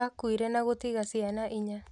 Akuire na gũtiga ciana inya